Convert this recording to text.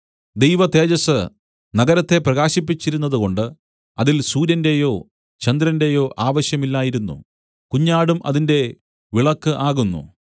ദൈവതേജസ്സ് നഗരത്തെ പ്രകാശിപ്പിച്ചിരുന്നതുകൊണ്ട് അതിൽ സൂര്യന്‍റെയോ ചന്ദ്രന്റേയോ ആവശ്യമില്ലായിരുന്നു കുഞ്ഞാടും അതിന്റെ വിളക്കു ആകുന്നു